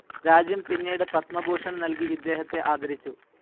രാജ്യം പിന്നീട് പത്മഭൂഷൺ നൽകി ഇദ്ദേഹത്തെ ആദരിച്ചു.